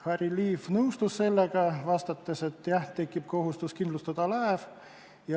Harry Liiv nõustus sellega, vastates, et jah, tekib kohustus laev kindlustada.